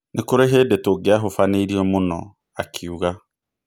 Nĩ kũrĩ hĩndĩ tũngĩahũbanĩirio mũno ", akiuga.